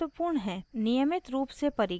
नियमित रूप से परीक्षण